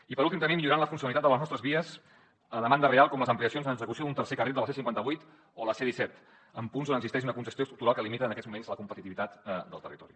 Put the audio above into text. i per últim també millorant la funcionalitat de les nostres vies a demanda real com les ampliacions en execució d’un tercer carril de la c cinquanta vuit o la c disset en punts on existeix una congestió estructural que limita en aquests moments la competitivitat del territori